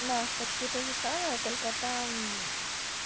да почти тоже самое только там